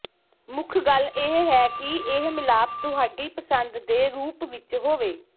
ਮੁੱਖ ਗੱਲ ਇਹ ਹੈ ਕਿ ਇਹ ਮਿਲਾਪ ਤੁਹਾਡੀ ਪਸੰਦ ਦੇ ਰੂਪ ਵਿੱਚ ਹੋਵੇ